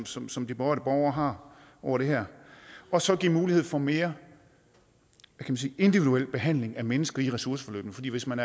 som som de berørte borgere har over det her og så give mulighed for mere individuel behandling af mennesker i ressourceforløbene fordi hvis man